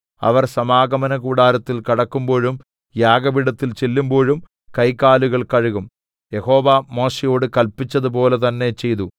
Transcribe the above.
അവർ സമാഗമനകൂടാരത്തിൽ കടക്കുമ്പോഴും യാഗപീഠത്തിൽ ചെല്ലുമ്പോഴും കൈകാലുകൾ കഴുകും യഹോവ മോശെയോട് കല്പിച്ചതുപോലെ തന്നെ ചെയ്തു